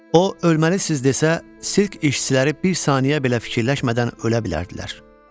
O ölməlisiniz desə, sirk işçiləri bir saniyə belə fikirləşmədən ölə bilərdilər.